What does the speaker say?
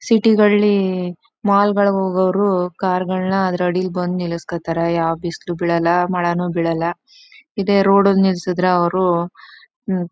city ಗಳ್ಳಿ mall ಗಳಗ್ ಹೋಗವರು ಕಾರ್ ಗಳನ್ನ ಅದ್ರಡಿಲಿ ಬಂದು ನಿಲ್ಲಿಸ್ಕತಾರೆ ಯಾವ ಬಿಸಿಲು ಬಿಳಲ್ಲ ಮಳೇನು ಬಿಳಲ್ಲ.ಇದೆ ರೋಡ್ ಗೆ ನಿಲ್ಸುದ್ರೆ ಅವರು--